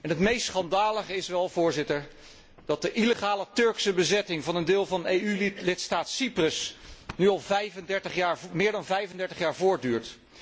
het meest schandalige is wel, Voorzitter, dat de illegale Turkse bezetting van een deel van EU lidstaat Cyprus nu al meer dan 35 jaar voortduurt.